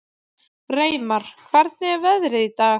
Reimar, hvernig er veðrið í dag?